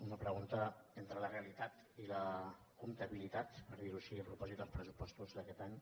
una pregunta entre la realitat i la comptabilitat per dir ho així a propòsit dels pressupostos d’aquest any